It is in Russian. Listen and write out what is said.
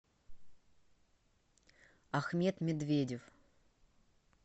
ахмед медведев